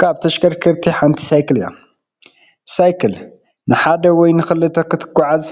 ካብ ተሽከርከርቲ ሓንቲ ሳይክል እያ፡፡ ሳይክን ንሓደ ወይ ንኽልተ ክተጓዓዕዝ